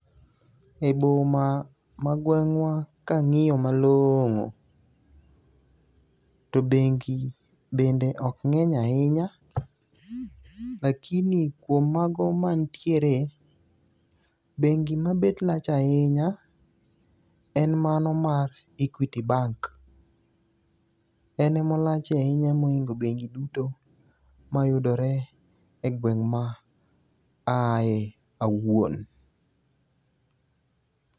E boma ma gweng'wa kang'iyo malong'o to bengi bende ok ng'eny ahinya. Lakini kuom mago mantiere bengi ma bet lach ahinya en mano mar Equity Bank. Enemolach ahinya moloyo bengi duto mayudore e gweng' ma ae awuon.